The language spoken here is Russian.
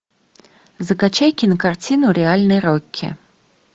закачай кинокартину реальный рокки